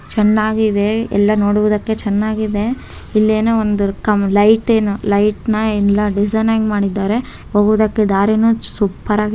ಚೆನ್ನಾಗಿದೆ ಎಲ್ಲ ನೋಡುವುದಕ್ಕೆ ಚೆನ್ನಾಗಿದೆ ಇಲ್ಲಿ ಏನೋ ಒಂದು ಕಂಬ ಲೈಟ್ ಏನೋ ಲೈಟ್ ನ ಎಲ್ಲ ಡಿಸೈನ್ ಆಗಿ ಮಾಡಿದ್ದಾರೆ ಹೋಗುವುದಕ್ಕೆ ದಾರಿನು ಸೂಪರ್ ಆಗಿದೆ.